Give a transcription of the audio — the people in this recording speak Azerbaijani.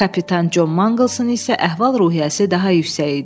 Kapitan Con Manqılsın isə əhval-ruhiyyəsi daha yüksək idi.